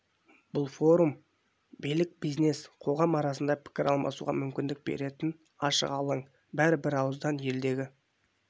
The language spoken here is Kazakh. бұл форум билік бизнес қоғам арасында пікір алмасуға мүмкіндік беретін ашық алаң бәрі бір ауызан елдегі